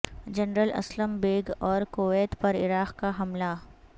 general Aslam Beg اور Kuwait پر Iraq کا حملہ